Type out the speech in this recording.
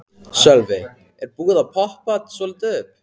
Sölvi: Er búið að poppa þetta svolítið upp?